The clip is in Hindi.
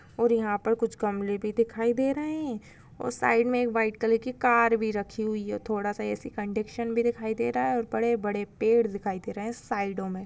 और यहाँ पे कुछ गमले भी दिखाई दे रहे है और साइड मे एक व्हाइट कलर की कार भी रखी हुई है। थोड़ा सा एसी कंडीशन भी दे रहा है और बड़े बड़े पेड दिखाई दे रहे साइडों मे।